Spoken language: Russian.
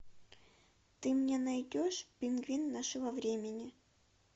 ты мне найдешь пингвин нашего времени